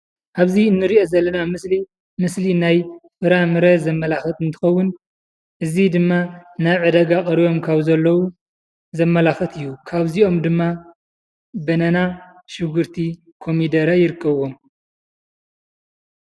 ኣብዚ ንሪኦ ዘለና ምስሊ ምስሊ ናይ ፍረምረ ዘመላኽት እንትኸዉን እዚ ድማ ናብ ዕዳጋ ቀሪቦም ካብ ዘለዉ ዘመላኽት ካብ እዚኦም ድማ በናና፣ ሽጉርቲ፣ ኮሚደረ ይርከብዎም ።